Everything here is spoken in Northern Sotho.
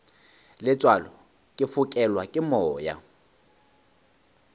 letswalo ke fokelwa ke moya